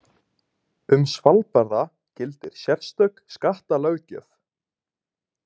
Um Svalbarða gildir sérstök skattalöggjöf.